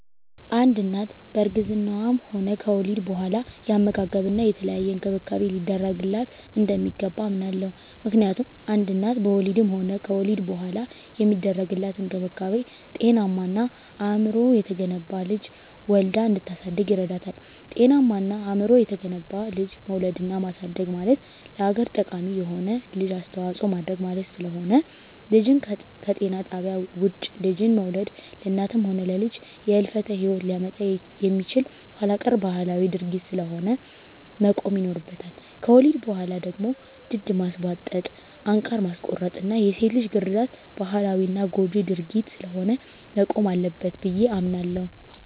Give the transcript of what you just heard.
አንድ እናት በእርግዝናዋም ሆነ ከወሊድ በኋላ የአመጋገብና የተለያየ እንክብካቤ ሊደረግላት እንደሚገባ አምናለሁ። ምክንያቱም አንድ እናት በወሊድም ሆነ ከወሊድ በኋላ የሚደረግላት እንክብካቤ ጤናማና አእምሮው የተገነባ ልጅ ወልዳ እንድታሳድግ ይረዳታል። ጤናማና አእምሮው የተገነባ ልጅ መውለድና ማሳደግ ማለት ለሀገር ጠቃሚ የሆነ ልጅ አስተዋጽኦ ማድረግ ማለት ስለሆነ። ልጅን ከጤና ጣቢያ ውጭ ልጅን መውለድ ለእናትም ሆነ ለልጅ የህልፈተ ሂወት ሊያመጣ የሚችል ኋላቀር ባህላዊ ድርጊት ስለሆነ መቆም ይኖርበታል። ከወሊድ በኋላ ደግሞ ድድ ማስቧጠጥ፣ አንቃር ማስቆረጥና የሴት ልጅ ግርዛት ባህላዊና ጎጅ ድርጊት ስለሆነ መቆም አለበት ብየ አምናለሁ።